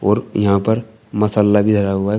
और यहां पर मसाला भी धरा हुआ है कुछ।